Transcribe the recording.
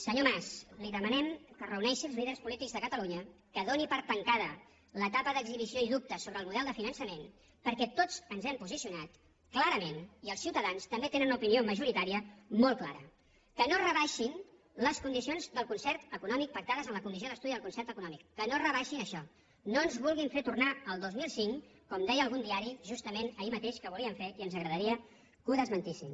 senyor mas li demanem que reuneixi els líders polítics de catalunya que doni per tancada l’etapa d’exhibició i dubtes sobre el model de finançament perquè tots ens hem posicionat clarament i els ciutadans també tenen una opinió majoritària molt clara que no es rebaixin les condicions del concert econòmic pactades en la comissió d’estudi del concert econòmic que no rebaixin això no ens vulguin fer tornar al dos mil cinc com deia algun diari justament ahir mateix que volien fer i ens agradaria que ho desmentissin